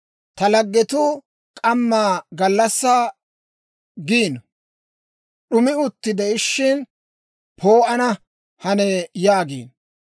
Ta laggetuu k'ammaa gallassaa giino; d'umi utti de'ishshin, ‹Poo'ana hanee› yaagiino.